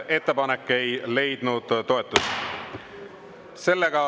Ettepanek ei leidnud toetust.